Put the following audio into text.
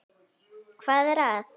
Hvað er að?